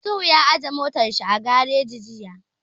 Isuhu ya aje motar shi a gareji jiya